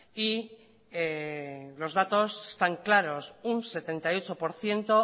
y los datos están claros un setenta y ocho por ciento